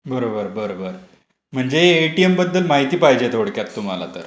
बरोबर बरोबर. म्हणजे एटीएम बद्दल माहिती पाहिजे थोडक्यात तुम्हाला तर.!